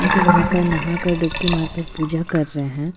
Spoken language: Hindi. जो वहाँ पर नहा कर डुपकी मार कर पूजा कर रहै है।